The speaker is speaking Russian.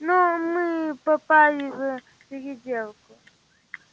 но мы попали в переделку